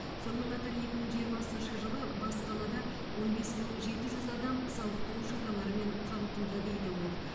сонымен қатар екі мың жиырмасыншы жылы бас қалада он бес мың жеті жүз адам сауықтыру шараларымен қамтылды дейді ол